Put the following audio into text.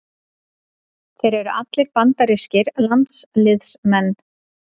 Þeir eru allir bandarískir landsliðsmenn